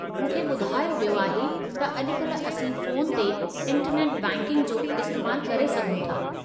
मूंखे ॿुधायो वियो आहे त अॼु काल्हि असीं फ़ोन ते इंटरनेट बैंकिंग जो इस्तेमालु करे सघूं था।